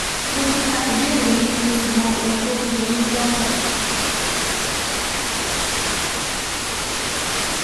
Mo ti ka ìbéèrè yín, mo sì mọ ohun tó ń ń jẹ yín lọ́kàn